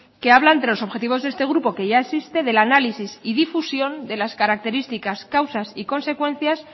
que habla entre los objetivos de este grupo que ya existe del análisis y difusión de las características causas y consecuencias